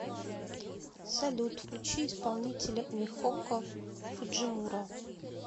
салют включи исполнителя михоко фуджимура